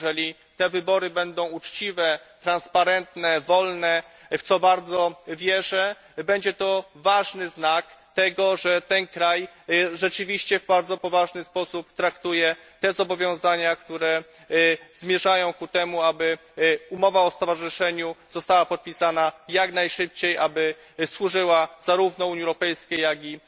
Jeżeli te wybory będą uczciwe, przejrzyste, wolne w co bardzo wierzę będzie to ważny znak tego, że ten kraj rzeczywiście poważnie traktuje te zobowiązania, które zmierzają ku temu, aby umowa o stowarzyszeniu została podpisana jak najszybciej, aby służyła zarówno Unii Europejskiej, jak i